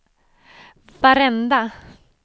varenda